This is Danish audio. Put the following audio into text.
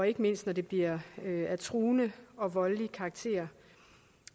ikke mindst når det bliver af truende og voldelig karakter